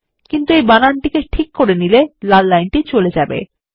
কিন্তু যখন আপনি বানানটি ঠিক করে নেবেন লাল লাইনটি চলে যাবে